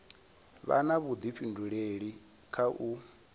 vha na vhudifhinduleli kha u